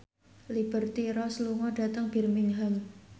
Liberty Ross lunga dhateng Birmingham